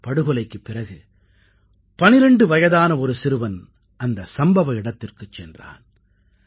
இந்தப் படுகொலைக்குப் பிறகு 12 வயதான ஒரு சிறுவன் அந்த சம்பவ இடத்திற்குச் சென்றான்